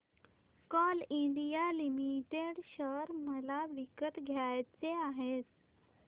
Coal India Limited share मला विकत घ्यायचे आहेत